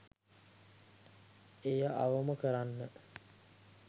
එය අවම කරන්න